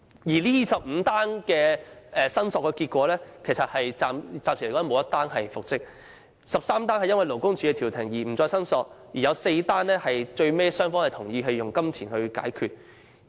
該25宗個案的申索結果顯示，暫時沒有任何個案的僱員能夠復職 ，13 宗個案的僱員因為勞工處調停而不再申索 ，4 宗個案的僱傭雙方最終同意以金錢解決糾紛。